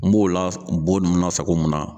N m'o la bɔ ninnu lasago mun na?